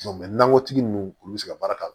nankɔtigi ninnu olu bɛ se ka baara k'a la